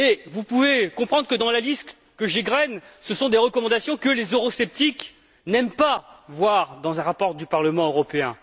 Vous pouvez comprendre que, dans la liste que j'égrène, ce sont des recommandations que les eurosceptiques n'aiment pas voir dans un rapport du Parlement européen.